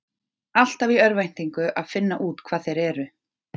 Alltaf í örvæntingu að finna út hvað þeir eru.